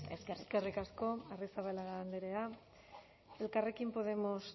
eskerrik asko eskerrik asko arrizabalaga andrea elkarrekin podemos